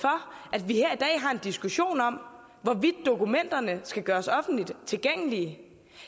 at vi her i dag har en diskussion om hvorvidt dokumenterne skal gøres offentligt tilgængelige